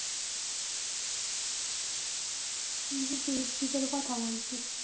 তুই কিন্তু FB থেকে কথা বলছিস